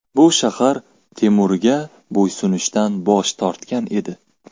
Bu shahar Temurga bo‘ysunishdan bosh tortgan edi.